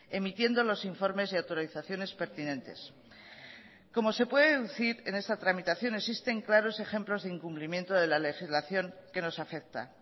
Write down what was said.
emitiendo los informes y autorizaciones pertinentes como se puede deducir en esta tramitación existen claros ejemplos de incumplimiento de la legislación que nos afecta